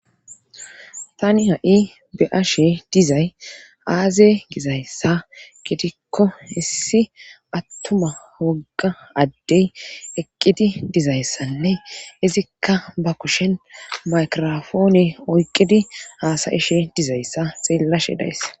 Tani ha'i be'ashe dizay aaze gizayssa gitikko issi attuma wogga addey eqqidi dizayssanne izikka ba kushen maykirofoone oyqidi aasayishe dizayssa xeellashe dayesa.